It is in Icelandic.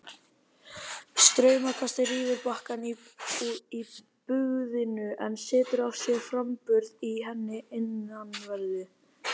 Straumkastið rýfur bakkann í bugðunni en setur af sér framburð í henni innanverðri.